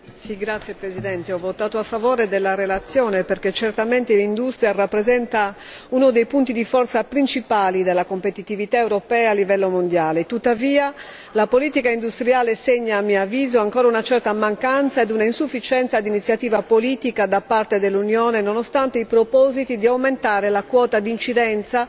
Signor Presidente, onorevoli colleghi, ho votato a favore della relazione perché certamente l'industria rappresenta uno dei punti di forza principali della competitività europea a livello mondiale. Tuttavia, la politica industriale segna a mio avviso ancora una certa mancanza ed un'insufficienza di iniziativa politica da parte dell'Unione, nonostante i propositi di aumentare la quota di incidenza